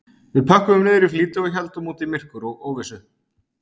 Við pökkuðum niður í flýti og héldum út í myrkur og óvissu